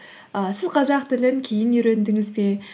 і сіз қазақ тілін кейін үйрендіңіз бе